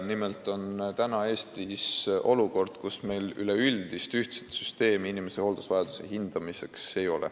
Nimelt on Eestis olukord, kus meil ei ole üleüldist ühtset süsteemi inimese hooldusvajaduse hindamiseks.